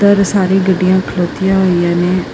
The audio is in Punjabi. ਬਹੁਤ ਸਾਰੀ ਗੱਡੀਆਂ ਖਲੋਤੀਆਂ ਹੋਈਆਂ ਨੇ।